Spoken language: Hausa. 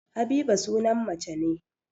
Habiba sunan mace ne